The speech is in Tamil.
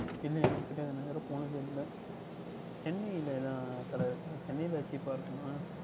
இல்லை எனக்கு தெரியாது நான் இதுவரை போனது இல்லை Chennai ல தான் கடை இருக்கின்றதா Chennai ல Cheap அஹ் இருக்குமா